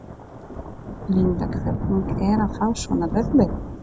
Linda: Hvernig er að fá svona verðlaun?